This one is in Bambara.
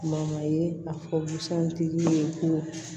ye a fɔ busan tigi ye ko